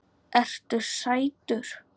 Ertu sætur?